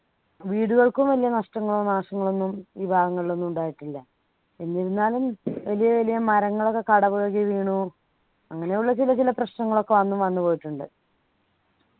വീടുകൾക്കും വലിയ നഷ്ടങ്ങളോ നാശങ്ങളോ ഒന്നും ഈ ഭാഗങ്ങളിൽ ഒന്നും ഉണ്ടായിട്ടില്ല എന്നിരുന്നാലും വലിയ വലിയ മരങ്ങളൊക്കെ കടപുഴകി വീണു അങ്ങനെയുള്ള ചില ചില പ്രശ്നങ്ങൾ ഒക്കെ അന്ന് വന്നു പോയിട്ടുണ്ട്